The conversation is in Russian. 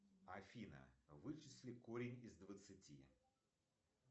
афина вычисли корень из двадцати